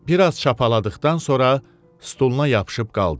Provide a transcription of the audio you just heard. Bir az çapaladıqdan sonra stuluna yapışıb qaldı.